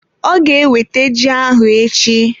Ọ ga ewete ji ahụ echi.